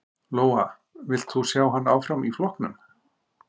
Lóa: Vilt þú sjá hann áfram í flokknum?